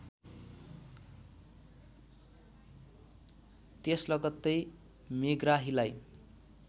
त्यस लगत्तै मेग्राहीलाई